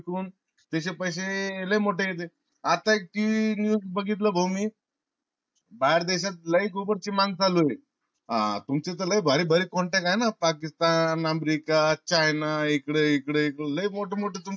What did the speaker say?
कून त्याचे पैसे लई मोठे येते. आता एक news बगितल भाऊ मी बाहेर देशात लई गोबर चि मांग चालू ये. हा तुमचे तर लई भारी भारी contact ये ना pakistan, America, China इकड इकड लई मोठ मोठा तुमच